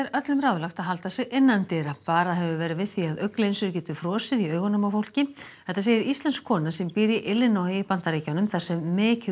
öllum ráðlagt að halda sig innandyra varað hefur verið við því að augnlinsur geti frosið í augunum á fólki þetta segir íslensk kona sem býr í Illinois í Bandaríkjunum þar sem mikið